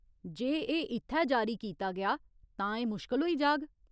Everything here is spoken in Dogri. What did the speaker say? जे एह् इत्थै जारी कीता गेआ तां एह् मुश्कल होई जाग।